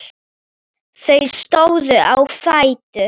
Þau stóðu á fætur.